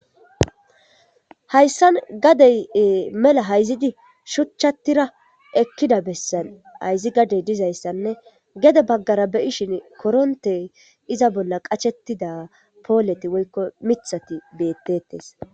hayssa gadey mela hayzidi shuchchattira ekkida bessan hayzi gadey dizayssanne gede baggara beyishin korontey iza bolla qachetida pooleti woykko mithati bettetes